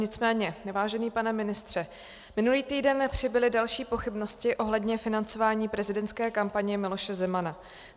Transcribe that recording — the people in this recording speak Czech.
Nicméně vážený pane ministře, minulý týden přibyly další pochybnosti ohledně financování prezidentské kampaně Miloše Zemana.